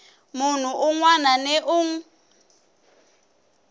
munhu un wana ni un